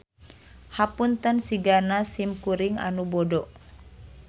Hapunten sigana sim kuring anu bodo.